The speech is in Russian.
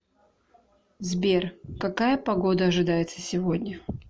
сбер какая погода ожидается сегодня